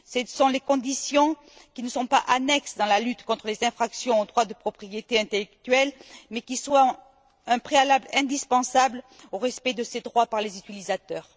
Ce sont des conditions qui ne sont pas annexes dans la lutte contre les infractions aux droits de propriété intellectuelle mais qui constituent un préalable indispensable au respect de ces droits par les utilisateurs.